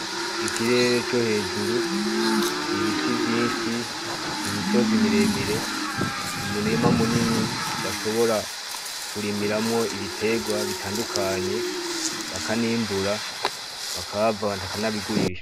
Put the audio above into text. Ikirere co hejuru ibiti vyinshi, imisozi miremire, umurima munini, bashobora kurimiramo ibiterwa bitandukanye bakanimbura bakaba banabigurisha.